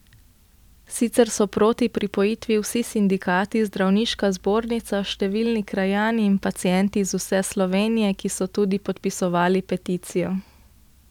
Sicer so proti pripojitvi vsi sindikati, zdravniška zbornica, številni krajani in pacienti iz vse Slovenije, ki so tudi podpisovali peticijo.